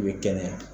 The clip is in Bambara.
I bɛ kɛnɛya